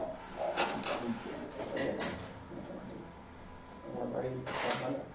ভালোই আছে মোটামোটি। তোমার বাড়ির সব ভালো ?